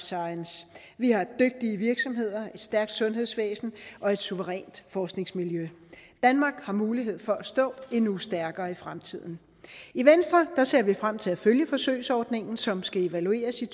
science vi har dygtige virksomheder et stærkt sundhedsvæsen og et suverænt forskningsmiljø danmark har mulighed for at stå endnu stærkere i fremtiden i venstre ser vi frem til at følge forsøgsordningen som skal evalueres i